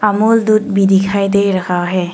अमूल दूध भी दिखाई दे रहा है।